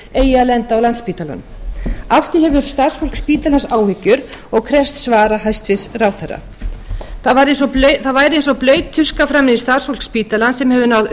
á landspítalanum af því hefur starfsfólk spítalans áhyggjur og krefst svara hæstvirtur ráðherra það væri eins og blaut tuska framan í starfsfólk spítalans sem hefur náð